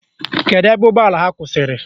Kedu ebe ụgbọala ha kwụsịrị?